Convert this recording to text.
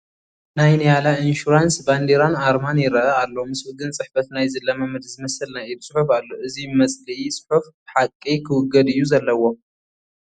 ናይ ኒያላ ኢንሹራንስ ባንዲራን ኣርማን ይርአ ኣሎ፡፡ ምስኡ ግን ፅሕፈት ናይ ዝለማመድ ዝመስል ናይ ኢድ ፅሑፍ ኣሎ፡፡ እዚ መፅልኢ ፅሑፍ ብሓቂ ክውገድ እዩ ዘለዎ፡፡